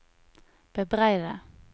bebreide